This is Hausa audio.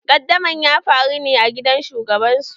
Qaddamarwa na en daba ya faru ne a gidan shugaban su.